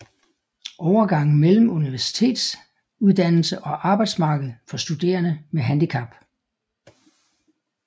Overgangen mellem universitetsuddannelse og arbejdsmarked for studerende med handicap